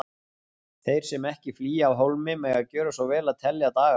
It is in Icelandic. Þeir sem ekki flýja af hólmi mega gjöra svo vel að telja daga sína.